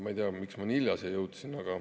Ma ei tea, miks ma nii hilja siia jõudsin.